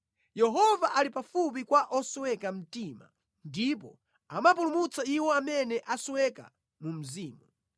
Yehova ali pafupi kwa osweka mtima ndipo amapulumutsa iwo amene asweka mu mzimu.